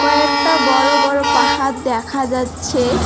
কয়েকটা বড় বড় পাহাড় দেখা যাচ্ছে।